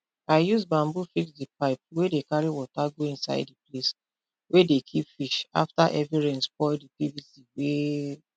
i use bamboo fix di pipe wey dey carry water go inside di place we dey keep fish afta heavy rain spoil di pvc wey